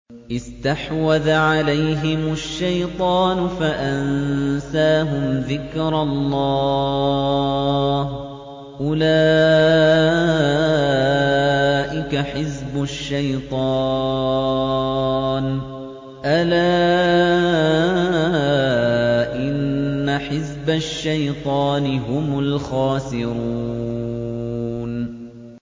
اسْتَحْوَذَ عَلَيْهِمُ الشَّيْطَانُ فَأَنسَاهُمْ ذِكْرَ اللَّهِ ۚ أُولَٰئِكَ حِزْبُ الشَّيْطَانِ ۚ أَلَا إِنَّ حِزْبَ الشَّيْطَانِ هُمُ الْخَاسِرُونَ